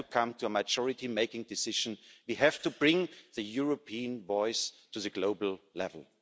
We have to come to a majority making decisions we have to bring the European voice to the global level.